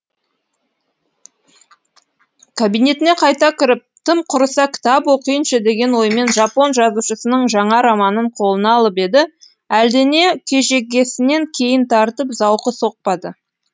кабинетіне қайта кіріп тым құрыса кітап оқиыншы деген оймен жапон жазушысының жаңа романын қолына алып еді әлдене кежегесінен кейін тартып зауқы соқпады